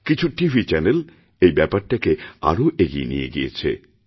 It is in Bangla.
কিছু টিভি চ্যানেল এই ব্যাপারটাকে আরও এগিয়ে নিয়ে গিয়েছে